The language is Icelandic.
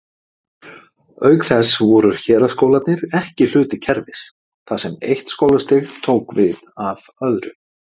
Auk þess voru héraðsskólarnir ekki hluti kerfis, þar sem eitt skólastig tók við af öðru.